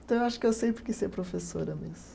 Então, eu acho que eu sempre quis ser professora mesmo.